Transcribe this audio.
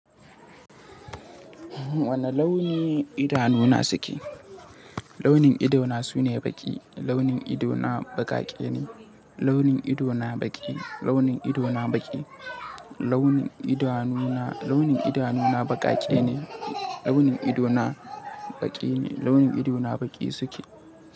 Wane launi idanuna suke? Launin ido na sune baƙi. Launin ido na baƙaƙe ne. Launin idona baƙi. Launin idona baƙi. Launin idanuna, launin idanuna baƙaƙe ne. Launin idona baƙi ne. Launin idona baƙi suke.